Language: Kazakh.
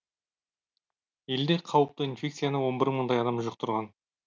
елде қауіпті инфекцияны он бір мыңдай адам жұқтырған